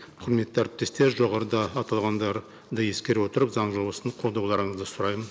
құрметті әріптестер жоғарыда аталғандарды ескере отырып заң жобасын қолдауларыңызды сұраймын